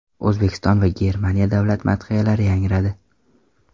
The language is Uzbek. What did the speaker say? O‘zbekiston va Germaniya davlat madhiyalari yangradi.